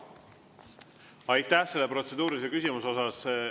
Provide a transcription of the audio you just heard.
Aitäh selle protseduurilise küsimuse eest!